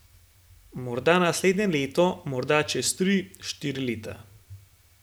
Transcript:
Morda naslednje leto, morda čez tri, štiri leta.